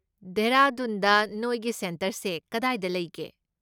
ꯗꯦꯍꯔꯥꯗꯨꯟꯗ ꯅꯣꯏꯒꯤ ꯁꯦꯟꯇꯔꯁꯦ ꯀꯗꯥꯏꯗ ꯂꯩꯒꯦ?